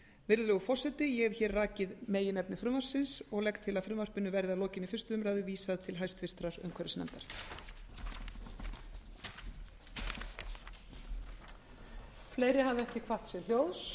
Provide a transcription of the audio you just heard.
virðulegur forseti ég hef hér rakið meginefni frumvarpsins ég legg til að frumvarpinu verði að lokinni fyrstu umræðu vísað til háttvirtrar umhverfisnefndar